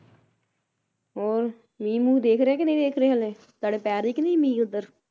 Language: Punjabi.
ਹੋਰ ਮੀਂਹ ਮੂਹ ਦੇਖ ਰਹੇ ਕੇ ਨਹੀਂ ਦੇਖ ਰਹੇ ਹਲੇ ਤੁਹਾਡੇ ਪੈ ਰਹੀ ਕੇ ਨਹੀਂ ਮੀਂਹ ਉਧਰ